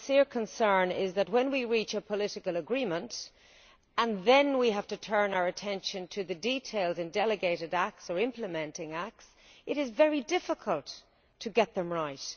My sincere concern is that, when we reach a political agreement and then have to turn our attention to the details and delegated acts or implementing acts, it is very difficult to get them right.